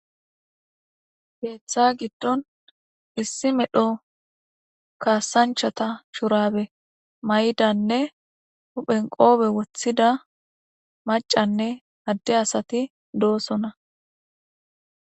Keetha gidon issi medho kaadanchata shubare mayidanne huphen qoope wothida mac'anne adde asati doosona.